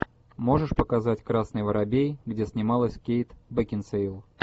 можешь показать красный воробей где снималась кейт бекинсейл